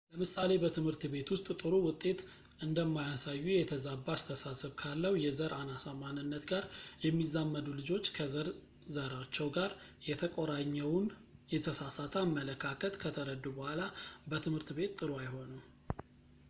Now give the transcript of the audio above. ለምሳሌ በት / ቤት ውስጥ ጥሩ ውጤት እንደማያሳዩ የተዛባ አስተሳሰብ ካለው የዘር አናሳ ማንነት ጋር የሚዛመዱ ልጆች ከዘር ዘራቸው ጋር የተቆራኘውን የተሳሳተ አመለካከት ከተረዱ በኋላ በትምህርት ቤት ጥሩ አይሆኑም